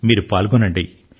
మీరు పాల్గొనండి